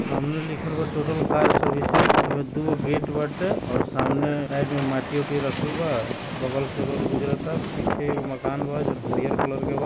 सामने लिखल बा टोटल कार सर्व्हिसेस एमे दो गो गेट बाटे और सामने राइट में माटी-ऊटी रखल बा और बगल से रोड गुजरता पीछे एगो मकान बा जोन हरिअर कलर के बा।